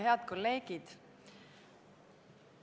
Head kolleegid!